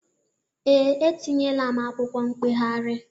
Ee, etinyeela m akwụkwọ mkpegharị.